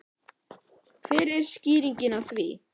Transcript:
Hver er skýringin á því?